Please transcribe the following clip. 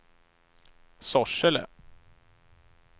Sorsele